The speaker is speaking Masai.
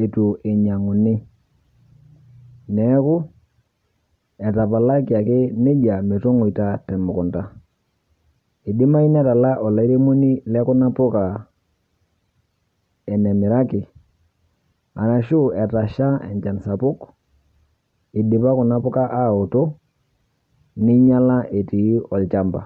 eitu eninyang'uni. Neaku, etapalaki ake neija metong'oita temukunta. Eidimayu netala olairemoni le kuna poka enemiraki arashu etasha enchan sapuk eidipa kuna poka aoto neinyala etii olchamba.